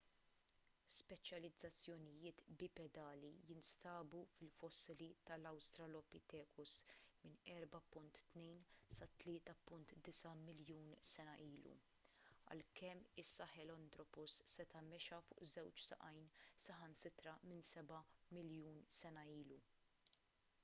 speċjalizzazzjonijiet bipedali jinstabu fil-fossili tal-australopithecus minn 4.2 sa 3.9 miljun sena ilu għalkemm is-sahelanthropus seta' mexa fuq żewġ saqajn saħansitra minn seba' miljun sena ilu